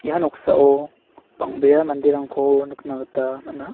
ia noksao bang·bea manderangko nikna gita man·a.